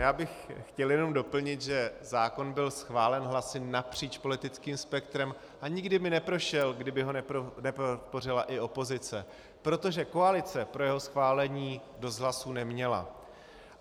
Já bych chtěl jenom doplnit, že zákon byl schválen hlasy napříč politickým spektrem a nikdy by neprošel, kdyby ho nepodpořila i opozice, protože koalice pro jeho schválení dost hlasů neměla.